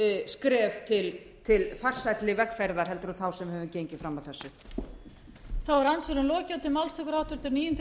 skref til farsælli velferðar heldur en þá sem við höfum gengið fram að þessu